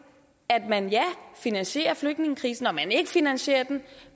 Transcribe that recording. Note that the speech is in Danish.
at man finansierer flygtningekrisen og man ikke finansierer den